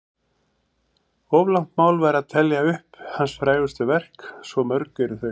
Of langt mál væri að telja upp hans frægustu verk, svo mörg eru þau.